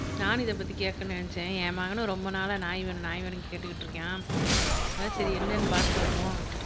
நானும் இதைப்பத்தி கேக்கனும்னு நினைச்சேன் என் மகனும் ரொம்ப நாளா நாய் வேணும் நாய் வேணும்னு கேட்டுகிட்டு இருக்கான் அதான் சரி என்னன்னு பாத்துட்டு வருவோம்